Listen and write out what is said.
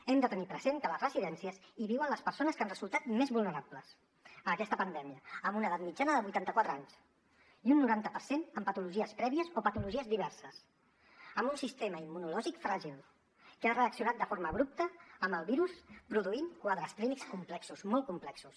hem de tenir present que a les residències viuen les persones que han resultat més vulnerables a aquesta pandèmia amb una edat mitjana de vuitanta quatre anys i un noranta per cent amb patologies prèvies o patologies diverses amb un sistema immunològic fràgil que ha reaccionat de forma abrupta amb el virus i ha produït quadres clínics complexos molt complexos